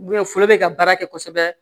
foro be ka baara kɛ kosɛbɛ